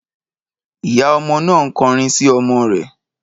Ìyá ọmọ náà ń kọrin sí ọmọ rẹ̀